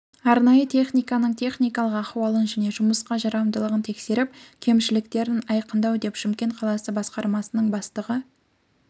арнайы техниканың техникалық ахуалын және жұмысқа жарамдылығын тексеріп кемшіліктерін айқындау деп шымкент қаласы бсқармасының бастығы